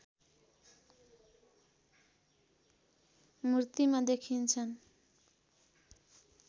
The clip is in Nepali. मूर्तिमा देखिन्छन्